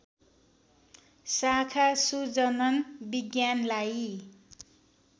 शाखा सुजनन विज्ञानलाई